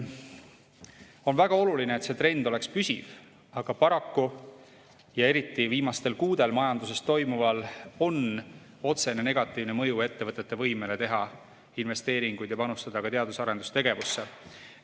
On väga oluline, et see trend oleks püsiv, aga paraku eriti viimastel kuudel majanduses toimuval on otsene negatiivne mõju ettevõtete võimele teha investeeringuid ja panustada ka teadus- ja arendustegevusse.